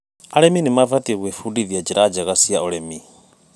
Arĩmi mabatiĩ gwĩbundithia njĩra njerũ ciaũrĩmi.